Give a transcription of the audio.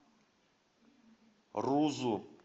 рузу